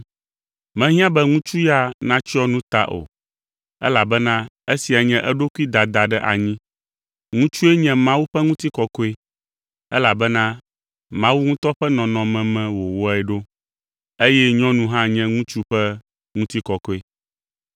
Mehiã be ŋutsu ya natsyɔ nu ta o, elabena esia nye eɖokui dada ɖe anyi. Ŋutsue nye Mawu ƒe ŋutikɔkɔe elabena Mawu ŋutɔ ƒe nɔnɔme me wòwɔe ɖo, eye nyɔnu hã nye ŋutsu ƒe ŋutikɔkɔe.